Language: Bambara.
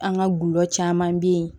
An ka gulɔ caman be ye